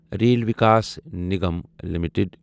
rail Vikas Nigam limited